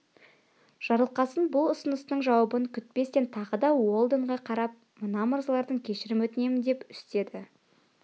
жарылқасын бұл ұсынысының жауабын күтпестен тағы да уэлдонға қарап мына мырзалардан кешірім өтінемін деп үстеді